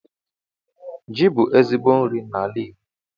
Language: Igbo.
Ji bụ ezigbo nri n'ala Igbo